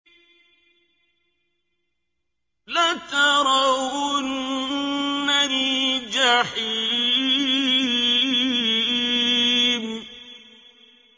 لَتَرَوُنَّ الْجَحِيمَ